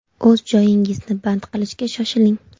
O‘z joyingizni band qilishga shoshiling.